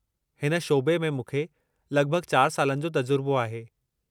हिन शोबे में मूंखे लगि॒भगि॒ चार सालनि जो तजुरिबो आहे।